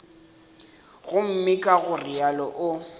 gomme ka go realo o